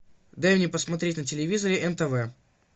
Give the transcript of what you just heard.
дай мне посмотреть на телевизоре нтв